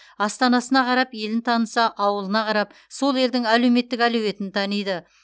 астанасына қарап елін таныса ауылына қарап сол елдің әлеуметтік әлеуетін таниды